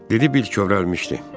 Dedi, Bill kövrəlmişdi.